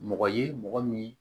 Mɔgɔ ye mɔgɔ min